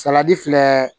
Salati filɛ